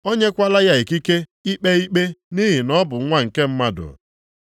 O nyekwala ya ikike ikpe ikpe nʼihi na ọ bụ Nwa nke Mmadụ.